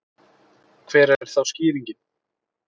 Hver er þá skýringin?